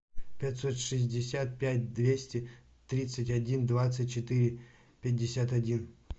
пятьсот шестьдесят пять двести тридцать один двадцать четыре пятьдесят один